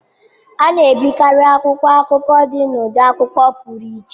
A na-ebikarị akwụkwọ akụkọ n'ụdị akwụkwọ pụrụ iche.